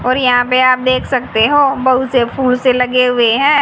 और यहां पे आप देख सकते हो बहुत से फूल से लगे हुए हैं।